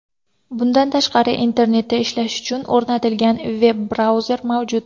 Bundan tashqari Internetda ishlash uchun o‘rnatilgan veb-brauzer mavjud.